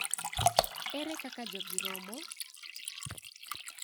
Ere kaka jogi romo?